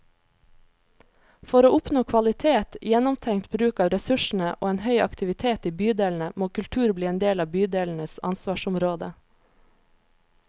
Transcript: For å oppnå kvalitet, gjennomtenkt bruk av ressursene og en høy aktivitet i bydelene, må kultur bli en del av bydelenes ansvarsområde.